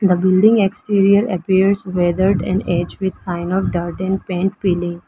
The building exterior appears weathered and edged with sign of dirt and paint peeling.